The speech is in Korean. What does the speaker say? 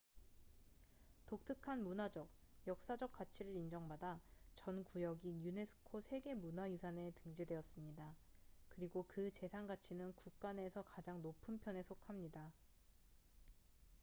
독특한 문화적 역사적 가치를 인정받아 전 구역이 유네스코 세계 문화유산에 등재되었습니다 그리고 그 재산 가치는 국가 내에서 가장 높은 편에 속합니다